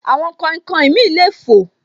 Àwọn kainkain mi le fò